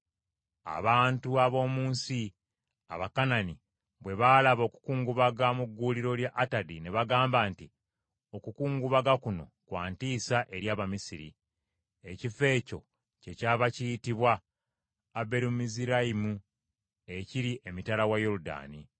Abantu ab’omu nsi, Abakanani, bwe baalaba okukungubaga mu gguuliro lya Atadi ne bagamba nti, “Okukungubaga kuno kwa ntiisa eri Abamisiri.” Ekifo ekyo kyekyava kiyitibwa Aberumizirayimu, ekiri emitala wa Yoludaani.